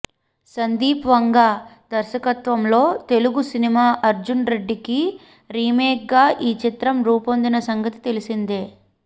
సందీప్ వంగా దర్శకత్వంలో తెలుగు సినిమా అర్జున్ రెడ్డికి రీమేక్గా ఈ చిత్రం రూపొందిన సంగతి తెలిసిందే